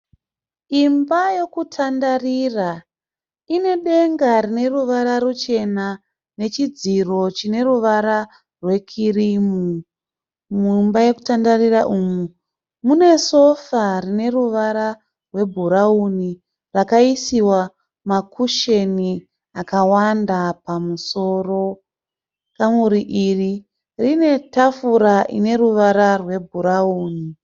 Imba yokutandarira ine denga rineruvara ruchena nechidziro chine ruvara rwe kirimu . Mumba yekutandarira umu mune sofa rine ruvara rwe bhurauni rakaisiwa ma kusheni akawanda pamusoro. Kamuri iri rine tafura ine ruvara rwe bhurauni.